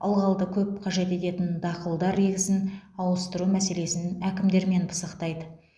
ылғалды көп қажет ететін дақылдар егісін ауыстыру мәселесін әкімдермен пысықтайды